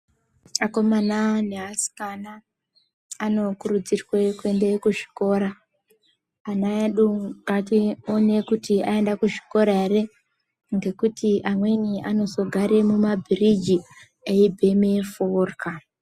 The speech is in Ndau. Akomana neasikana anokurudzirwe kuende kuzvikora. Ana edu ngatione kuti aende kuzvikora here ngekuti amweni anozogare mumabhiriji eibheme forya.